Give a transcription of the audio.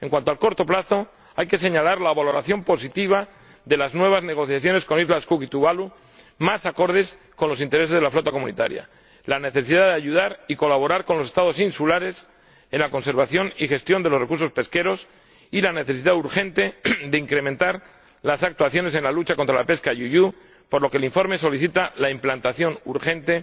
En cuanto al corto plazo, hay que señalar la valoración positiva de las nuevas negociaciones con las Islas Cook y Tuvalu, más acordes con los intereses de la flota comunitaria, la necesidad de ayudar y colaborar con los Estados insulares en la conservación y gestión de los recursos pesqueros, y la necesidad urgente de incrementar las actuaciones en la lucha contra la pesca IUU, por lo que el informe solicita la implantación urgente